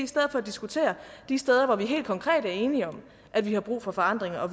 stedet for diskutere de steder hvor vi helt konkret er enige om at vi har brug for forandring og